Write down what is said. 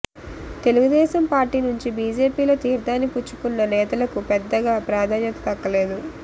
Telugu Desam party నుంచి బీజేపీలో తీర్థాన్ని పుచ్చుకున్న నేతలకు పెద్దగా ప్రాధాన్యత దక్కలేదు